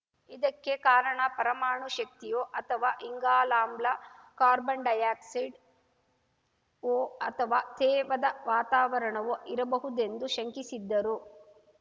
ಇದಕ್ಕೆ ಕಾರಣ ಪರಮಾಣು ಶಕ್ತಿಯೋ ಅಥವಾ ಇಂಗಾಲಾಮ್ಲ ಕಾರ್ಬನ್ ಡೈಯಾಕ್ಸೈಡ್ ವೊ ಅಥವಾ ತೇವದ ವಾತಾವರಣವೊ ಇರಬಹುದೆಂದು ಶಂಕಿಸಿದ್ದರು